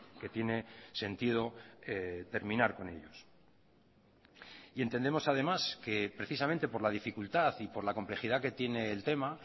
que tiene sentido terminar con ellos y entendemos además que precisamente por la dificultad y por la complejidad que tiene el tema